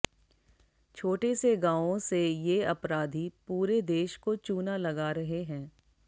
छोटे से गावों से ये आपराधी पूरे देश को चूना लगा रहे हैं